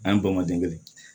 An ye bamadenkɛ